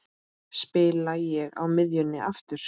Spila ég á miðjunni aftur?